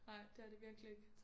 Nej det er det virkelig ikke